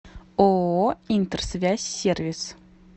ооо интерсвязь сервис